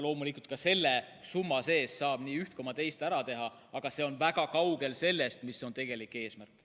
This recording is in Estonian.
Loomulikult, ka selle summa sees saab üht koma teist ära teha, aga see on väga kaugel sellest, mis on tegelik eesmärk.